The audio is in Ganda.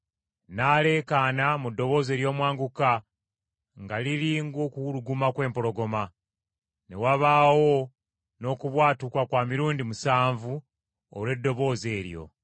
N’aleekaana mu ddoboozi ery’omwanguka nga liri ng’okuwuluguma kw’empologoma. Ne wabaawo n’okubwatuka kwa mirundi musanvu olw’eddoboozi eryo.